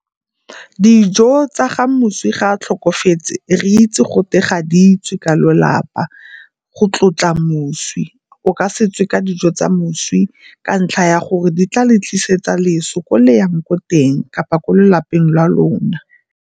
Dijo tsa ga moswi ga a tlhokafetse re itse gote ga di tswe ka lelapa go tlotla moswi. O ka se tswe ka dijo tsa moswi ka ntlha ya gore di tla le tlisetsa loso ko le yang ko teng kapa ko lelapeng la lona.